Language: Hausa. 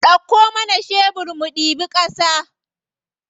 Ɗauko mana shebir mu ɗibi ƙasa.